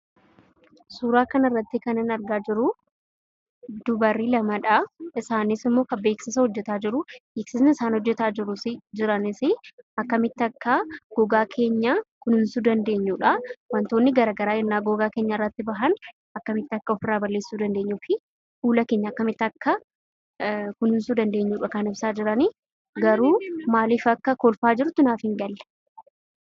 Suuraa kana irratti kanan argaa jiru dubartoota lamadha. Isaanis ammoo beeksisa hojjetaa jiru. Beeksisni isaan hojjetaa jiranis, akkamitti akka gogaa kenya kunuunsuu akka dandeenyudha. Wantootni gara garaa yeroo gogaa keenya irrati ba'an akkamitti akka ofirra balleessu dandeenyufi fuula keenya akkamitti akka kunuunsinu kan ibsaa jirani. Garuu maaliif akka kolfaa jirtu naaf hingalle.